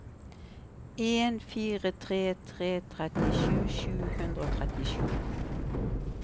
en fire tre tre trettisju sju hundre og trettisju